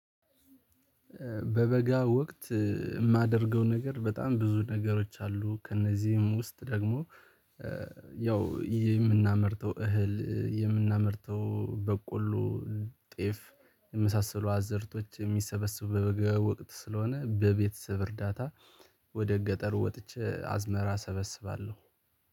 በበጋ ወቅት የማደርገው ነገር በጣም ብዙ ነገሮች አሉ። ከእነዚህም ውስጥ ደግሞ ያው የምናመርተው እህል የምናመርተው በቆሎ ጤፍ የመሳሰሉ አዘርቶች የሚሰበስቡ በበጋ ወቅት ስለሆነ በቤተሰብ እርዳታ። ወደ ገጠሩ ወጥቼ አዝመራ እሰበስባለሁ